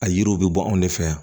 A yiriw bɛ bɔ anw de fɛ yan